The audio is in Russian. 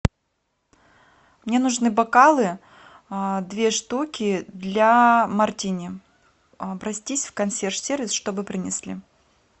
мне нужны бокалы две штуки для мартини обратись в консьерж сервис чтобы принесли